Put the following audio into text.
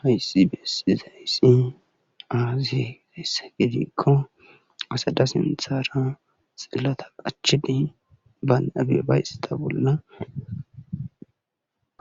Hayssi beetizayssi aaze gizayssa gidikko asata sinththra xilata qachchidi bantta bollara